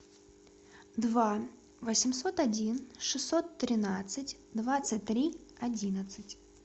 два восемьсот один шестьсот тринадцать двадцать три одиннадцать